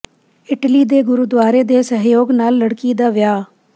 Italy ਦੇ ਗੁਰਦਾਆਰੇ ਦੇ ਸਹਿਯੋਗ ਨਾਲ ਲੜਕੀ ਦਾ ਵਿਆਹ